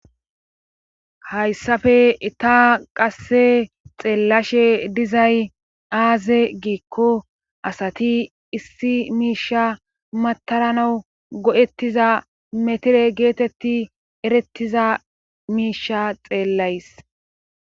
hayssafe itaa qasse xeellashe dizay aaze giikko asati issi miisha mataranawu godettiza metire geetetti erettiza miisha xeellays